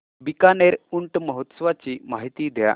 बीकानेर ऊंट महोत्सवाची माहिती द्या